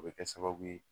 O bɛ kɛ sababu ye